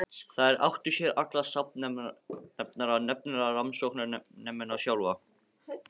Þær áttu sér allar samnefnara, nefnilega rannsóknarmennina sjálfa.